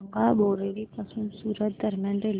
सांगा बोरिवली पासून सूरत दरम्यान रेल्वे